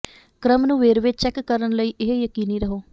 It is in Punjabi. ਕ੍ਰਮ ਨੂੰ ਵੇਰਵੇ ਚੈੱਕ ਕਰਨ ਲਈ ਇਹ ਯਕੀਨੀ ਰਹੋ